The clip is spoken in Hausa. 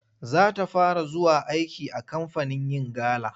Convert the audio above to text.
Za ta fara zuwa aiki a kamfanin yin gala.